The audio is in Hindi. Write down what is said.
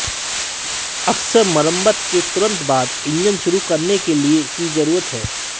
अक्सर मरम्मत के तुरंत बाद इंजन शुरू करने के लिए की जरूरत है